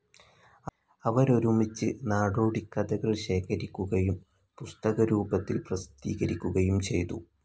അവരൊരുമിച്ച്, നാടോടിക്കഥകൾ ശേഖരിക്കുകയും പുസ്തകരൂപത്തിൽ പ്രസിദ്ധീകരിക്കുകയും ചെയ്തു.